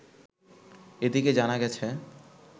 এদিকে জানা গেছে